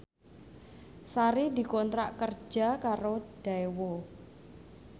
Sari dikontrak kerja karo Daewoo